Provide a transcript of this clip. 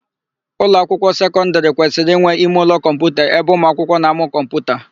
Ụlọakwụkwọ sekọndịrị kwesịrị inwe imeụlọ kọmputa ebe ụmụakwụkwọ na-amụ kọmputa.